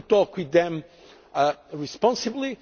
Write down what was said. to talk with them responsibly